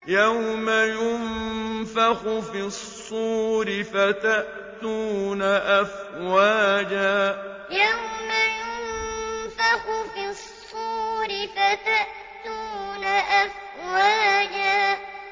يَوْمَ يُنفَخُ فِي الصُّورِ فَتَأْتُونَ أَفْوَاجًا يَوْمَ يُنفَخُ فِي الصُّورِ فَتَأْتُونَ أَفْوَاجًا